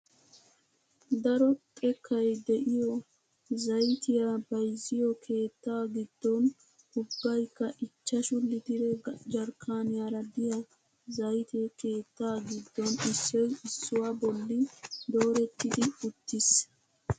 Daro xekkay de'iyoo zayttiyaa bayzziyoo keettaa giddon ubbayikka ichchashshu litiree jarkkaniyaara de'iyaa zaytee keettaa giddon issoy iisuwaa bolli doorettidi uttiis!